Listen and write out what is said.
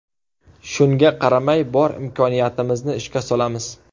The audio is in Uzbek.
Shunga qaramay bor imkoniyatimizni ishga solamiz.